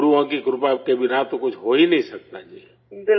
گروؤں کی کرپا کے بنا تو کچھ ہو ہی نہیں سکتا جی